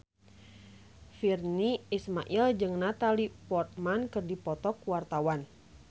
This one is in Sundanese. Virnie Ismail jeung Natalie Portman keur dipoto ku wartawan